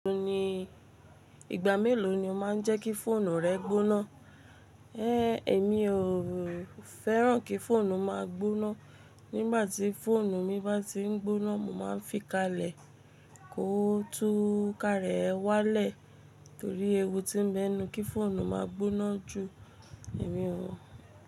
O ní ìgbà mélòó ni o má n jẹ́ kí fóònù rẹ gbóná? Eé, èmi o fẹ́ràn kí fóònù má a gbóná. Nígbà tí fóònù mi bá ti n gbóná, mo má n fi kalẹ̀ kó tún ká rẹ̀ wá lẹ̀ torí ewu tí n bẹnu kí fóònù má a gbóná ju èmi oo.